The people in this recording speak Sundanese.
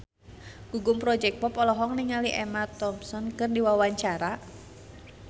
Gugum Project Pop olohok ningali Emma Thompson keur diwawancara